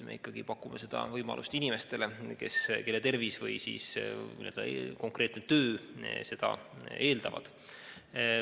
Me pakume seda võimalust ikkagi inimestele, kelle tervis või töö seda eeldavad.